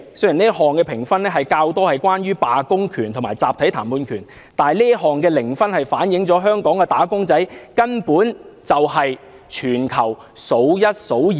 雖然這項評分較多是關於罷工權和集體談判權，但這項零分反映香港"打工仔"的慘況，根本是全球數一數二的。